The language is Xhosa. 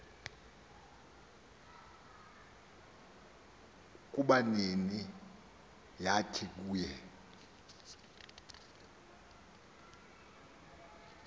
kubabini yathi kuye